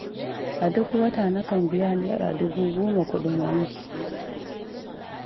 A duk wata nakan biya Naira dubu goma kuɗin wanki.